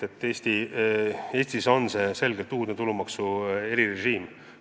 Üldse, see on Eestis selgelt uudne tulumaksu erirežiim.